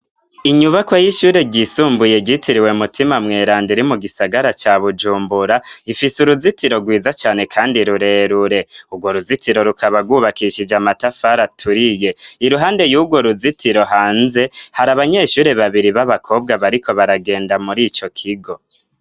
Inyubako y'ishure ryisumbuye gitiriwe mutima mweranda iri mu gisagara ca bujumbura ifise uruzitiro rwiza cane, kandi rurerure urwo ruzitiro rukabagwubakishije amatafara aturiye iruhande y'urwo ruzitiro hanze hari abanyeshure babiri b'abakobwa bariko baragenda muri ico kigo.